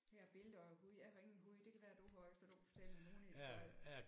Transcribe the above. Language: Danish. Her er et billede af en hund jeg har ingen hund det kan være du har så kan du kan fortælle en hundehistorie